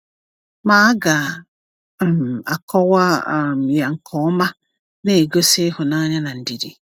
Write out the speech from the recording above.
Ma aga m akọwa um ya nke ọma, na-egosi ịhụnanya na ndidi.